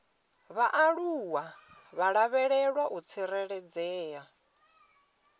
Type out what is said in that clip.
vhaaluwa vha lavhelwa u tsireledzea